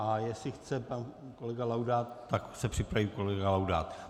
A jestli chce pan kolega Laudát, tak se připraví kolega Laudát.